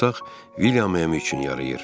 Bu otaq William üçün yarayır.